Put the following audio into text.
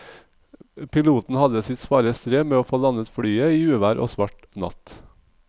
Piloten hadde sitt svare strev med å få landet flyet i uvær og svart natt.